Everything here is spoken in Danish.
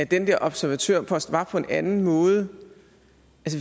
den der observatørpost var på en anden måde